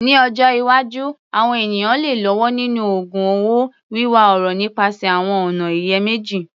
Ní ọjọ́ iwájú, àwọn ènìyàn lè lọ́wọ́ nínú ògun un owó, wíwá ọrọ̀ nípasẹ̀ àwọn ọ̀nà ìyèméjì.